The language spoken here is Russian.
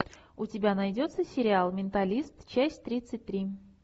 у тебя найдется сериал менталист часть тридцать три